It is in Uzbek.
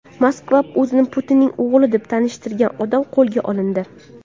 Moskvada o‘zini Putinning o‘g‘li deb tanishtirgan odam qo‘lga olindi.